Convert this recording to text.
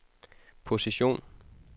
position